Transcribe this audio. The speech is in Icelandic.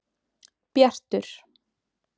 Bjartur